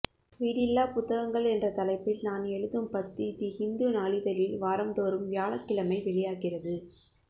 வீடில்லாப் புத்தகங்கள் என்ற தலைப்பில் நான் எழுதும் பத்தி தி ஹிந்து நாளிதழில் வாரம் தோறும் வியாழக்கிழமை வெளியாகிறது